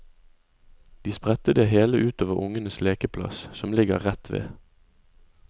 De spredte det hele utover ungenes lekeplass, som ligger rett ved.